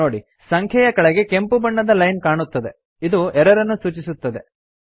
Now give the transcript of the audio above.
ನೋಡಿ ಸಂಖ್ಯೆಯ ಕೆಳಗೆ ಕೆಂಪು ಬಣ್ಣದ ಲೈನ್ ಕಾಣುತ್ತದೆ ಇದು ಎರರ್ ಅನ್ನು ಸೂಚಿಸುತ್ತದೆ